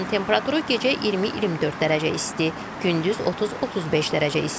Havanın temperaturu gecə 20-24 dərəcə isti, gündüz 30-35 dərəcə isti.